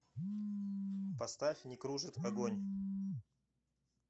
поставь некружит агонь